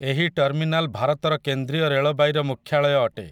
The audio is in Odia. ଏହି ଟର୍ମିନାଲ୍ ଭାରତର କେନ୍ଦ୍ରୀୟ ରେଳବାଇର ମୁଖ୍ୟାଳୟ ଅଟେ ।